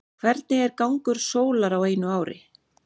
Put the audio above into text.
hvernig er gangur sólar á einu ári